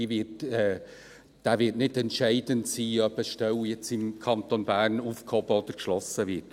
Dieser wird nicht entscheidend sein, ob jetzt eine Stelle im Kanton Bern aufgehoben oder geschlossen wird.